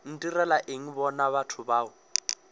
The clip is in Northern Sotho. ntirela eng bona batho bao